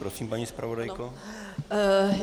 Prosím, paní zpravodajko.